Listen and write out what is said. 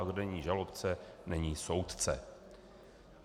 A kde není žalobce, není soudce.